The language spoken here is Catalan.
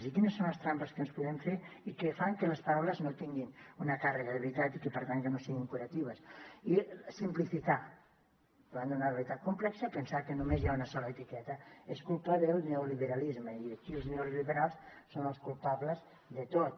i quines són les trampes que ens podem fer i que fan que les paraules no tinguin una càrrega de veritat i que per tant que no siguin curatives simplificar davant d’una realitat complexa pensar que només hi ha una sola etiqueta és culpa del neoliberalisme i aquí els neoliberals són els culpables de tot